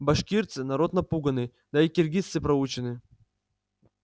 башкирцы народ напуганный да и киргизцы проучены